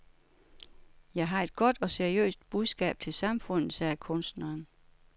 Jeg har et godt og seriøst budskab til samfundet, sagde kunstneren.